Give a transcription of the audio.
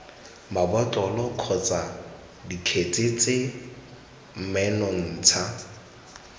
mabotlolo kgotsa dikgetse tse menontsha